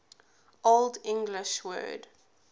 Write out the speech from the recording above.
old english word